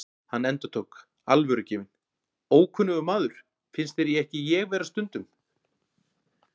Hann endurtók, alvörugefinn: Ókunnugur maður, finnst þér ekki ég vera stundum?